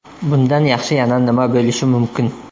Bundan yaxshi yana nima bo‘lishi mumkin?